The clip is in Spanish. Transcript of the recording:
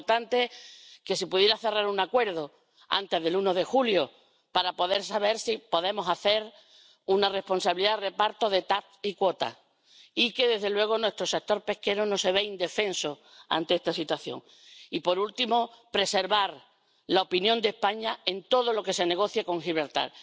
Es importante que pudiera cerrar un acuerdo antes del 1 de julio para poder saber si podemos hacer un reparto responsable del TAC y de las cuotas y que, desde luego, nuestro sector pesquero no se vea indefenso ante esta situación Y, por último, preservar la opinión de España en todo lo que se negocie con Gibraltar.